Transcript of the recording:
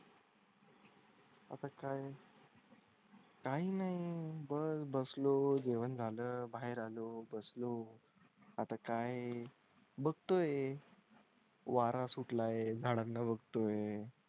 आता काय? काही नाही बस बसलो जेवण झालं बाहेर आलो बसलो आता काय बघतोय? वारा सुट लाय झाडांना बघतोय.